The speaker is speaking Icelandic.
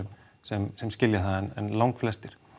sem sem skilja það en fæstir